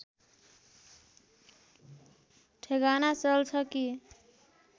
ठेगाना चल्छ कि